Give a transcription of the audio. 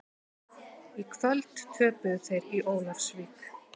Í kvöld töpuðu þeir í Ólafsvík.